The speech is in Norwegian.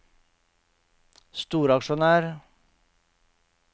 storaksjonær